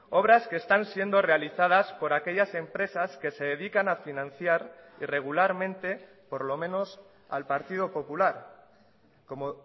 obras que están siendo realizadas por aquellas empresas que se dedican a financiar irregularmente por lo menos al partido popular como